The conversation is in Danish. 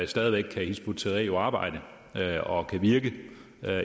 stadig væk kan hizb ut tahrir arbejde og virke